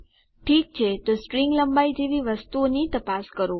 ઠીક છે તો સ્ટ્રીંગ લંબાઈ જેવી વસ્તુઓની તપાસ કરો